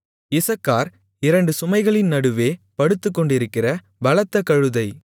இசக்கார் இரண்டு சுமைகளின் நடுவே படுத்துக்கொண்டிருக்கிற பலத்த கழுதை